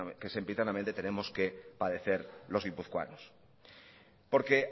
que sempiternamente tenemos que padecer los guipuzcoanos porque